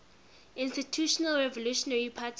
institutional revolutionary party